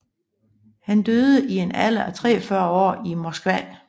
Han døde i en alder af 43 år i Moskva